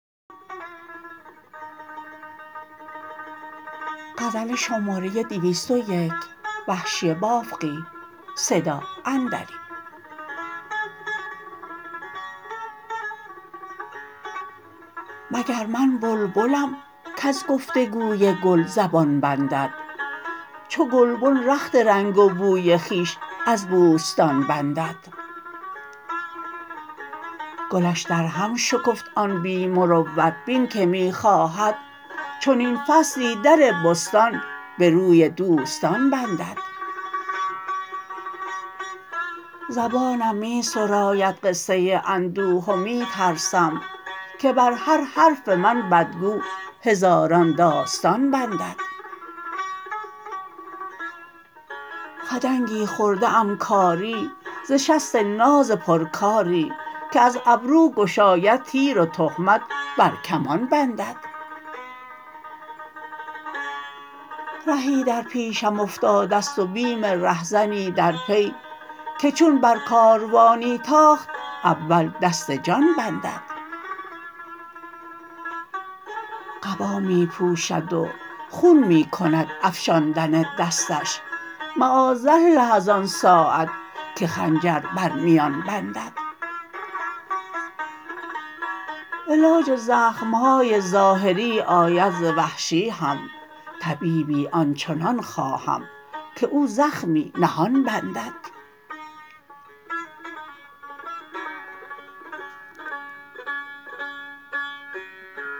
مگر من بلبلم کز گفتگوی گل زبان بندد چو گلبن رخت رنگ و بوی خویش از بوستان بندد گلش در هم شکفت آن بی مروت بین که می خواهد چنین فصلی در بستان به روی دوستان بندد زبانم می سراید قصه اندوه و می ترسم که بر هر حرف من بدگو هزاران داستان بندد خدنگی خورده ام کاری ز شست ناز پرکاری که از ابرو گشاید تیر و تهمت بر کمان بندد رهی در پیشم افتادست و بیم رهزنی در پی که چون بر کاروانی تاخت اول دست جان بندد قبا می پوشد و خون می کند افشاندن دستش معاذالله از آن ساعت که خنجر بر میان بندد علاج زخمهای ظاهری آید ز وحشی هم طبیبی آنچنان خواهم که او زخمی نهان بندد